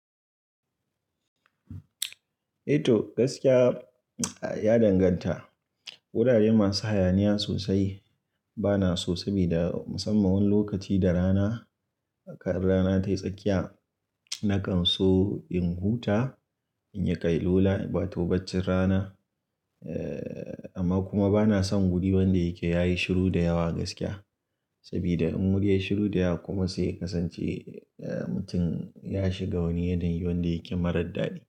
Eh to gaskiya ya danganta. Wurare masu hayaniya sosai bana so sabida musamman wani lokaci da rana, kan rana tayi tsakiya nakan so in huta, in yi ƙailola, wato baccin rana. Eh amma kuma bana son wuri wanda yake yayi shiru da yawa gaskiya. Sabida in wuri yayi shiru da yawa kuma sai ka san ce mutum ya shiga wani yanayi wanda yake marar daɗi.